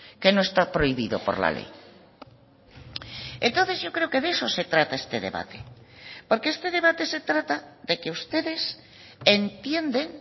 que no está prohibido por la ley entonces yo creo que de eso se trata este debate porque este debate se trata de que ustedes entienden